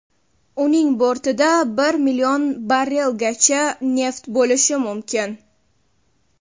Uning bortida bir million barrelgacha neft bo‘lishi mumkin.